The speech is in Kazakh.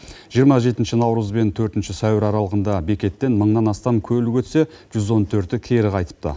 жиырма жетінші наурыз бен төртінші сәуір аралығында бекеттен мыңнан астам көлік өтсе жүз он төрті кері қайтыпты